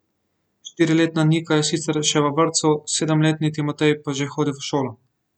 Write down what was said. Štiriletna Nika je sicer še v vrtcu, sedemletni Timotej pa že hodi v šolo.